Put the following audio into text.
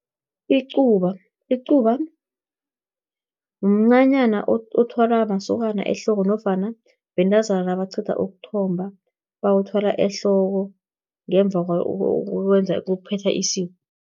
Icuba, mncanyana othwalwa masokana ehloko, nofana bentazana nabaqeda ukuthomba, bawuthwala ehloko, ngemva kokuphetha isiko.